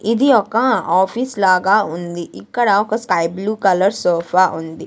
ఇది ఒక ఆఫీస్ లాగా ఉంది ఇక్కడ ఒక స్కై బ్లూ కలర్ సోఫా ఉంది.